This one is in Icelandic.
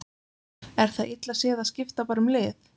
Er það illa séð að skipta bara um lið?